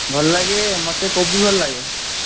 ଭଲ ଲାଗେ, ମତେ କୋବି ଭଲ ଲାଗେ।